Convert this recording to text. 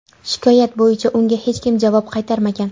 Shikoyat bo‘yicha unga hech kim javob qaytarmagan.